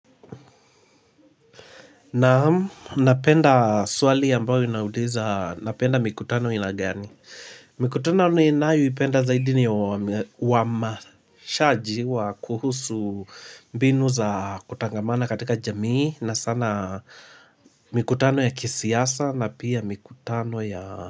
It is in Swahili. Naam, napenda swali ambayo inauliza napenda mikutano inagani. Mikutano ninayo ipenda zaidi ni wa mashaji wa kuhusu mbinu za kutangamana katika jamii na sana mikutano ya kisiasa na pia mikutano ya.